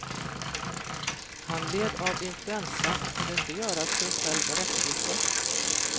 Han led av influensa och kunde inte göra sig själv rättvisa.